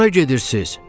Hara gedirsiz?